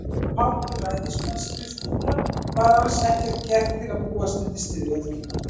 Af hálfu ræðismannsskrifstofunnar var alls ekkert gert til að búast undir styrjöld.